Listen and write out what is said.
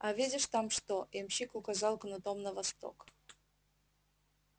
а видишь там что ямщик указал кнутом на восток